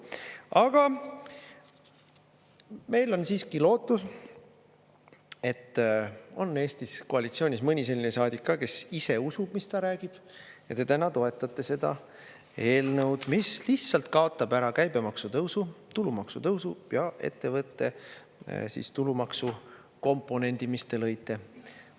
Aga meil on siiski lootus, et on Eestis koalitsioonis mõni selline saadik ka, kes ise usub, mis ta räägib, ja te täna toetate seda eelnõu, mis lihtsalt kaotab ära käibemaksu tõusu, tulumaksu tõusu ja ettevõtte tulumaksu komponendi, mis te lõite.